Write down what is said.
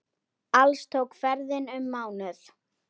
Alls tók ferðin um mánuð.